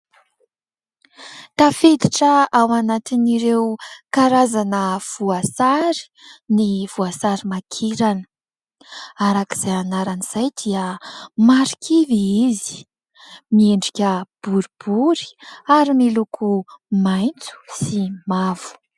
Tafiditra ao anatin'ireo karazana voasary ny voasarimakirana, arak'izay anarana izay dia marikivy izy miendrika boribory ary miloko maitso sy mavo.